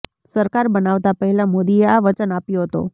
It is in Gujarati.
સરકાર બનાવતા પહેલાં મોદીએ આ વચન આપ્યો હતો